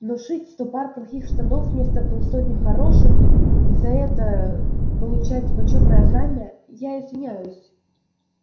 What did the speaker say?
но шить сто пар плохих штанов вместо полсотни хороших и за это получать почётное знамя я извиняюсь